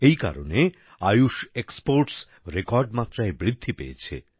এই কারণে Ayush exports record মাত্রায় বৃদ্ধি পেয়েছে